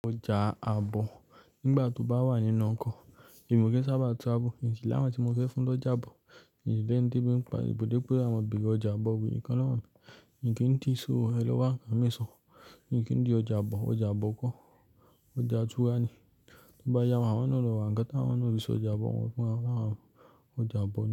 Ọjà àbò nígbà tí mo bá wà nínú ọkọ̀, èmi ò kí ń sábà tún àbò, nì kí láma tí mo fẹ́ fún lọ́jà àbò, nì léńdé bí mo bá, ibùdó píràmìdì ọjà àbò wù yín kan lọ́hùn, nì kí ń ti ṣò ẹlẹ́wá kan mi ṣò, nì kí ń di ọjà àbò, ọjà àbò kó, ọjà túra ni. Tí bá yá ọmọ wọn náà lọ wá, àgẹ́tọ̀ wọn náà ò fi sí ọjà àbò wọn fún àwọn ọjà àbò náà.